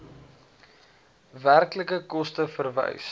werklike koste verwys